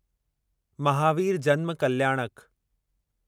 महावीर जन्म कल्याणक